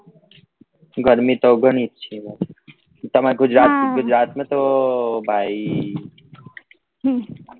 ગરમી તો ગણી જ છે ભાઈ તમાર ગુજરાત માં ગુજરાત માં તો ભાઈ